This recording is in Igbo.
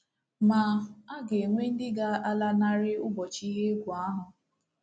Ma, a ga-enwe ndị ga-alanarị ụbọchị ihe egwu ahụ.